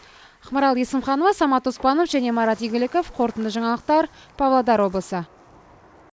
ақмарал есімханова самат оспанов және марат игіліков қорытынды жаңалықтар павлодар облысы